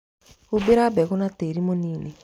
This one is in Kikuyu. Humbĩra mbegu na tĩri mũnini.